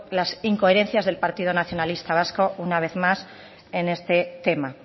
las incoherencias del partido nacionalista vasco una vez más en este tema